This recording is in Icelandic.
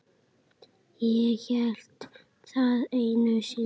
Ég hélt það einu sinni.